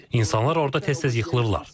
İnsanlar orada tez-tez yıxılırlar.